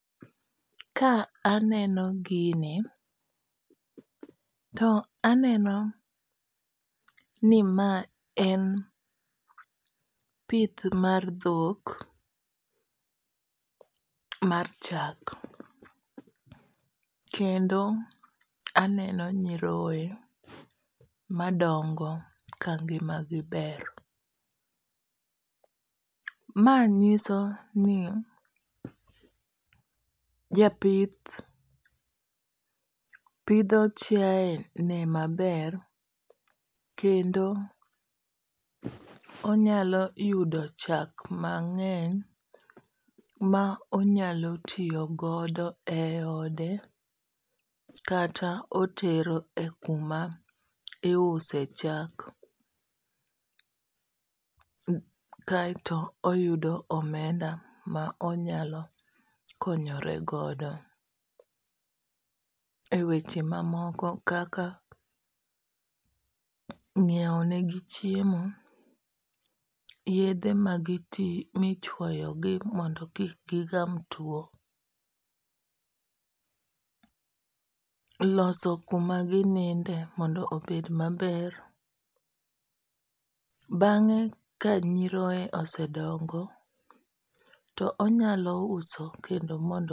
Ka aneno gini to aneno ni ma en pith mar dhok mar chak. Kendo aneno nyiroye madongo ka ngima gi ber. Ma nyiso ni japith pidho chiaye ne maber kendo onyalo yudo chak mang'eny ma onyalo tiyogodo e ode kata otero e kuma iuse chak kaeto oyudo omenda ma onyalo konyoregodo e weche ma moko kaka ng'iew ne gi chiemo, yedhe michuoyogi mondo kik gigam tuo, loso kuma gininde mondo obed maber. Bang'e ka nyiroye osedongo, to onyalo uso kendo